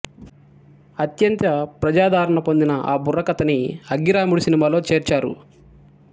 అత్యంత ప్రజాదరణ పొందిన ఆ బుర్రకథని అగ్గిరాముడు సినిమాలో చేర్చారు